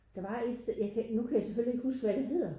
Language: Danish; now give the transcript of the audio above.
Der var ét nu kan jeg selvfølgelig ikke huske hvad det hedder